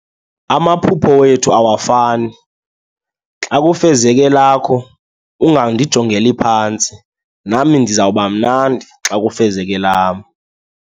Amaphupho wethu awafani. Xa kufezeka elakho ungandijongeli phantsi, nami ndizawuba mnandi xa kufezeka elam.